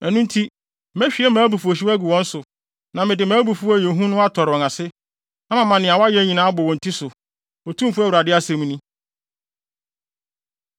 Ɛno nti, mehwie mʼabufuwhyew agu wɔn so, na mede mʼabufuw a ɛyɛ hu no atɔre wɔn ase, na mama nea wɔayɛ nyinaa abɔ wɔn ti so, Otumfo Awurade asɛm ni.”